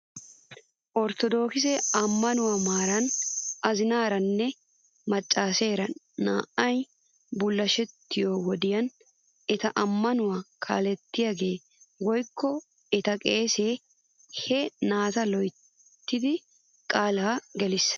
Orttodokise ammanuwaa maaran azinaaranne macaaseera naa'ay bullashettiyoo wodiyan eta ammanuwaa kaalettiyaagee woykko eta qeesee he naata loyttidi qaalaa gelisses .